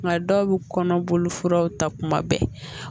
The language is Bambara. Nka dɔw bɛ kɔnɔboli furaw ta kuma bɛɛ